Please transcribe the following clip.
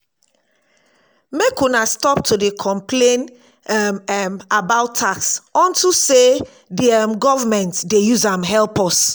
make una stop to dey complain um [um]about tax unto say di government dey use am help us